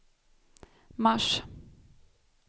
mars